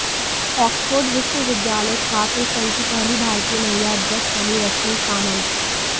Oxford विश्वविद्यालय छात्र संघ की पहली भारतीय महिला अध्यक्ष बनीं रश्मि सामंत